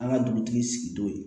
An ka dugutigi sigi t'o ye